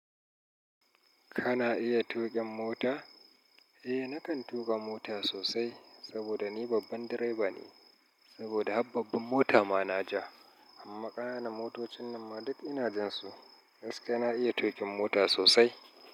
Kana iya tuƙin mota? Eh, nakan tuƙa mota sosai saboda ni babban direba ne, saboda hababban mota ma na ja. Amma ƙananan motocin nan ma duk ina jan su. Gaskiya na iya tuƙin mota sosai.